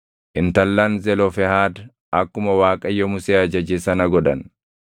Intallan Zelofehaad akkuma Waaqayyo Musee ajaje sana godhan.